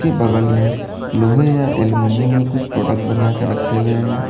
बगल में लोहे या एल्युमिनियम के कुछ प्रोडक्ट बनाकर रखे हुए हैं।